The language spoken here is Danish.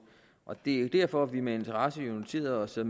og det er jo derfor vi med interesse har noteret os at